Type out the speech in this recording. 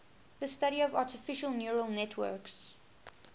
the study of artificial neural networks